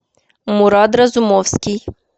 мурад разумовский